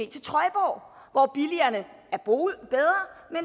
til trøjborg hvor boligerne